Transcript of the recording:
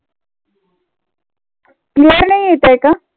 नाही येत आहे का?